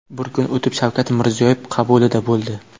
Bir kun o‘tib Shavkat Mirziyoyev qabulida bo‘ldi.